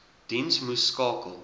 diens moes skakel